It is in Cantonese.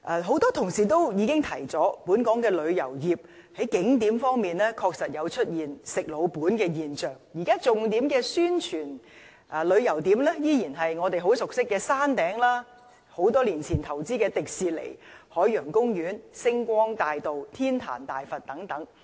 很多議員都指出，本港的旅遊業在景點方面，確實出現"食老本"的現象，現在重點宣傳的旅遊景點依然是我們很熟悉的山頂、多年前投資的迪士尼樂園、海洋公園、星光大道及天壇大佛等。